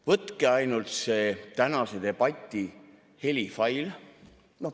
Võtke ainult see tänase debati helifail.